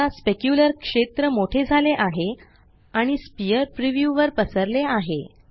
आता स्पेक्युलर क्षेत्र मोठे झाले आहे आणि स्फियर प्रीव्यू वर पसरले आहे